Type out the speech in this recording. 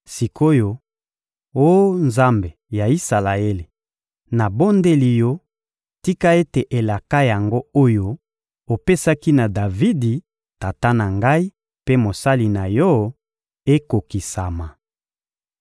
Sik’oyo, oh Nzambe ya Isalaele, nabondeli Yo, tika ete elaka yango oyo opesaki na Davidi, tata na ngai mpe mosali na Yo, ekokisama!